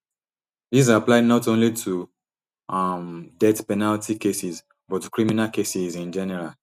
dis apply not only to um death penalty cases but to criminal cases in general